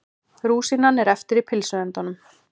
Rúsínan er eftir í pylsuendanum.